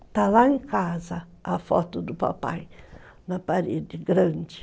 Está lá em casa a foto do papai, na parede, grande.